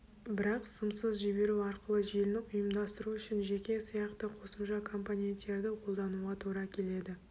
бірақ сымсыз жіберу арқылы желіні ұйымдастыру үшін жеке сияқты қосымша компоненттерді қолдануға тура келеді